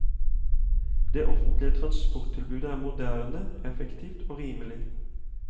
Det offentlige transporttilbudet er moderne, effektivt og rimelig.